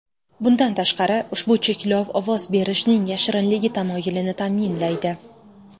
Bundan tashqari, ushbu cheklov ovoz berishning yashirinligi tamoyilini ta’minlaydi.